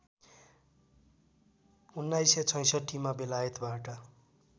१९६६मा बेलायतबाट